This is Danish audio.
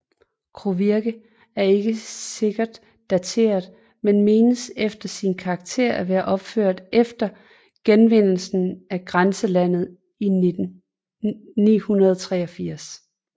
Kovirke er ikke sikkert dateret men menes efter sin karakter at være opført efter genvindelsen af grænselandet i 983